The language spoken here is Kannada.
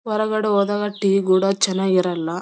ಹೊರಗಡೆ ಹೋದಾಗ ಟೀ ಕೂಡ ಚೆನ್ನಾಗಿ ಇರಲ್ಲ.